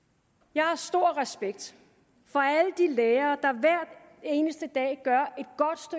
jeg har stor respekt for alle de lærere der hver eneste dag gør